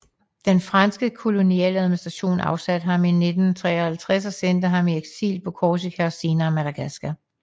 Den franske kolonialadministration afsatte ham i 1953 og sendte ham i eksil på Korsika og senere Madagaskar